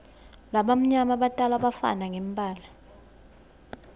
labamnyama batalwa bafana ngembala